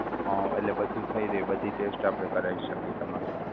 અમ એટલે બધુ થઈ રહે બધી test આપણે કરાવી શકીયે.